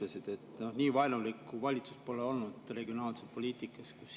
Regionaalpoliitika suhtes nii vaenulikku valitsust pole olnudki.